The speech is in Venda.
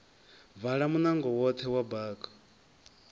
vala munango woṱhe wa bako